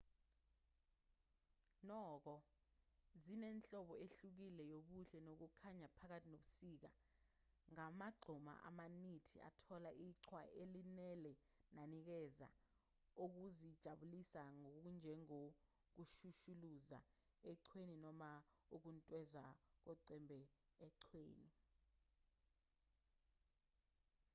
nokho zinenhlobo ehlukile yobuhle nokukhanga phakathi nobusika ngamagquma amanithi athola iqhwa elanele nanikeza okokuzijabulisa okunjengokushushuluza eqhweni noma ukuntweza ngoqembe eqhweni